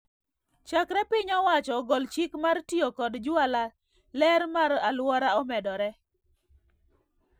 Chakre piny owacho ogol chik mar tiyo kod jwala ler mar aluora omedore